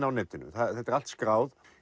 á netinu þetta er allt skráð